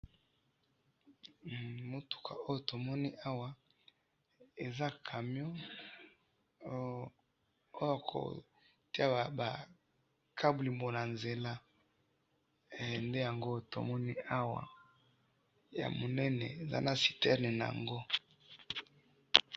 Hmm! Mutuka oyo tomoni awa, eza camion, ooo yakotiya kaburimbo nanzela, eh! Nde yango oyo tomoni awa, yamunene eza na cistern naango.